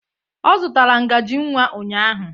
Ọ zụtara ngaji nwa ụnyahụ.